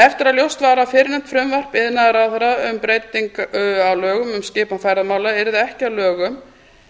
eftir að ljóst varð að fyrrnefnt frumvarp iðnaðarráðherra um breytingu á lögum um skipan ferðamála yrði ekki að lögum